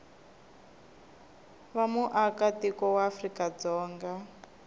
va muaka tiko wa afrikadzonga